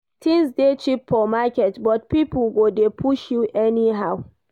Tins dey cheap for market but pipo go dey push you anyhow.